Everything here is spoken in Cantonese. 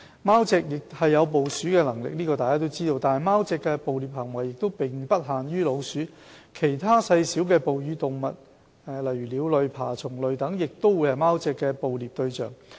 貓隻有捕鼠的能力，但貓隻的捕獵行為並不限於老鼠，其他細小哺乳類動物、鳥類、爬蟲類等，亦會是貓隻的捕獵對象。